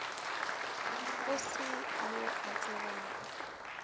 go se yo a tsebago